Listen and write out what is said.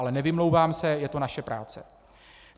Ale nevymlouvám se, je to naše práce.